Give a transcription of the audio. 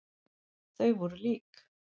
Þau voru lík.